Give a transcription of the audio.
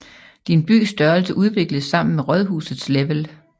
Din bys størrelse udvikles sammen med rådhusets level